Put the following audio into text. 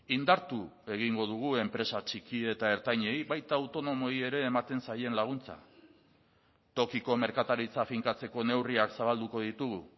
indartu egingo dugu enpresa txiki eta ertainei baita autonomoei ere ematen zaien laguntza tokiko merkataritza finkatzeko neurriak zabalduko ditugu